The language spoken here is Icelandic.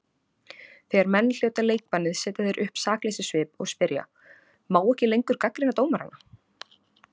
Þegar menn hljóta leikbannið setja þeir upp sakleysissvip og spyrja: Má ekki lengur gagnrýna dómarana?